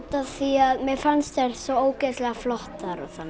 af því að mér fannst þær svo ógeðslega flottar og þannig